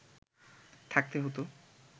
থাকতে হতো